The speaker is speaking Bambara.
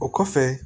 O kɔfɛ